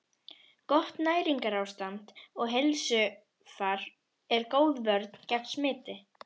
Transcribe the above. Gott næringarástand og heilsufar er góð vörn gegn smiti.